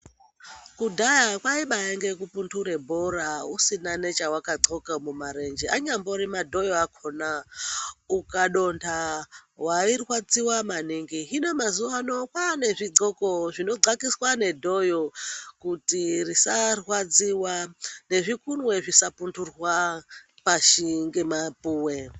Kudhaya kwaibainge kupunture bhora usina nechawadxoka mumarenje, anyambori madhoyo akhona, ukadonta wairwadziwa maningi. Hino mazuwa ano kwaane zvidxoko zvinodxakiswa nedhoyo kuti risarwadziwa, nezvikunwe zvinopunturwa pashi ngemapuwe.